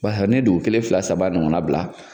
ni dugun kelen fila saba ɲɔgɔnna bila